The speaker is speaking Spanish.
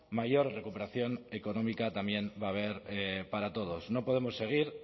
mayor recuperación económica también va a haber para todos no podemos seguir